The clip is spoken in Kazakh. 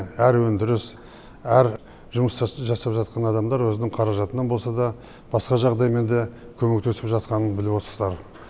әр өндіріс әр жұмыста жасап жатқан адамдар өзінің қаражатынан болса да басқа жағдаймен де көмектесіп жатқанын біліп отырсыздар